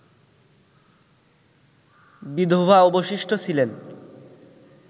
বিধবা অবশিষ্ট ছিলেন